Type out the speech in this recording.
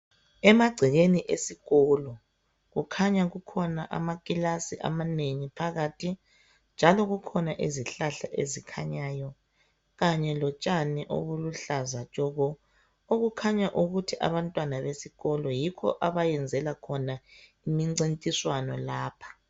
Emagcekeni esikolo kukhanya kukhona amakilasi amanengi phakathi njalo kukhona izihlahla ezikhanyayo kanye lotshani obuluhlaza tshoko okukhanya ukuthi abantwana besikolo yikho abayenzela khona imincintiswano lapha.